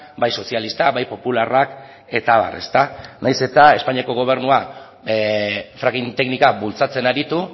bai sozialistak bai popularrak eta abar nahiz eta espainiako gobernua fracking teknika bultzatzen aritu